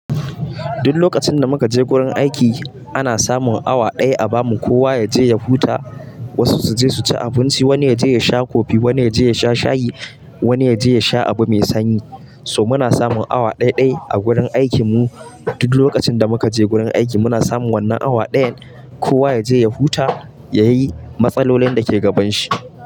Duk lokacin da muka je gurin aiki ana samun awa daya a bamu kowa yaje ya huta, wasu su je su ci abinci, wani yaje ya sha kofi, wani yaje ya sha shayi, wani yaje ya sha abu mai sanyi. So, muna samun awa ɗai-ɗai a gurin aikin mu. Duk lokacin da muka je gurin aiki muna samun wannan awa dayan, kowa yaje ya huta, yayi matsalolin dake gaban shi.